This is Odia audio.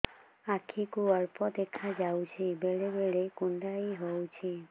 ଆଖି କୁ ଅଳ୍ପ ଦେଖା ଯାଉଛି ବେଳେ ବେଳେ କୁଣ୍ଡାଇ ହଉଛି